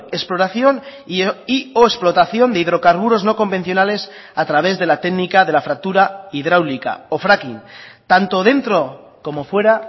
exploración y o explotación de hidrocarburos no convencionales a través de la técnica de la fractura hidráulica o fracking tanto dentro como fuera